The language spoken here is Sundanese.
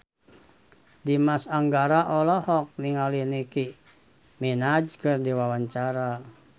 Dimas Anggara olohok ningali Nicky Minaj keur diwawancara